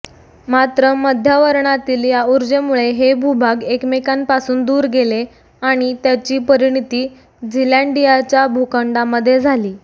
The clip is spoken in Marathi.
मात्र मध्यावरणातील या ऊर्जेमुळे हे भूभाग एकमेकांपासून दूर गेले आणि त्याची परिणीती झीलँडियाच्या भूखंडामध्ये झाली